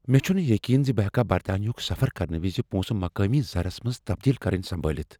مےٚ چھنہٕ یقین زِ بہ ہٮ۪کا برطانیہ ہک سفر کرنہٕ وز پونٛسہٕ مقٲمی زرس منٛز تبدیٖل کرٕنۍ سمبٲلِتھ ۔